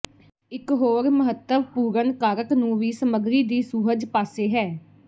ਇਕ ਹੋਰ ਮਹੱਤਵਪੂਰਨ ਕਾਰਕ ਨੂੰ ਵੀ ਸਮੱਗਰੀ ਦੀ ਸੁਹਜ ਪਾਸੇ ਹੈ